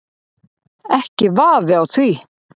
Ekki vafi á því.